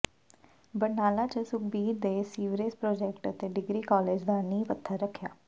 ਬਰਨਾਲਾ ਚ ਸੁਖਬੀਰ ਨੇ sewerage project ਅਤੇ ਡਿਗਰੀ ਕਾਲਜ ਦਾ ਨੀਂਹ ਪੱਥਰ ਰੱਖਿਆ